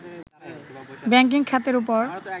banking খাতের উপর